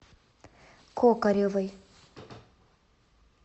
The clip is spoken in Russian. кокаревой